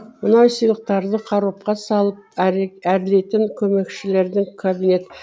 мынау сыйлықтарды қаробқа салып әрлейтін көмекшілердің кабинет